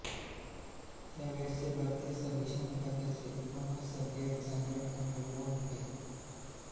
त्या वेळचे भारतीय सर्वेक्षण खात्याचे प्रमुखसर्व्हेयर जनरल एन्ड्र्यू वॉ होते